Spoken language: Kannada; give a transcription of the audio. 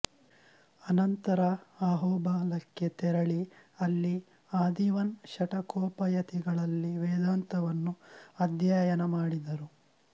ಅನಂತರ ಅಹೋಬಲಕ್ಕೆ ತೆರಳಿ ಅಲ್ಲಿ ಆದಿವನ್ ಶಠಕೋಪಯತಿಗಳಲ್ಲಿ ವೇದಾಂತವನ್ನು ಅಧ್ಯಯನಮಾಡಿದರು